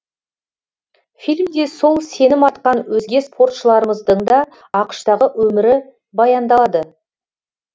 фильмде сол сенім артқан өзге спортшыларымыздың да ақш тағы өмірі баяндалады